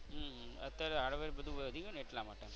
હમ્મ અત્યારે hardwork બધુ વધી ગયું ને એટલા માટે.